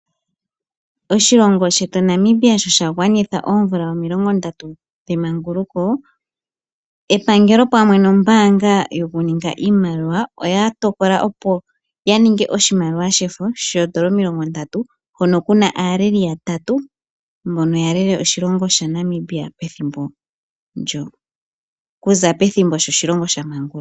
Oshilongo shetu Namibia sho sha gwanitha oomvula omilongo ndatu, epangelo pamwe no mbaanga yoku ninga iimaliwa oya tokola opo ya ete po oshimaliwa shefo shoodola omilongo ndatu. Oku na aaleli yatatu mbono ya lele Namibia oku za pethimbo oshilongo sho sha maanguluka.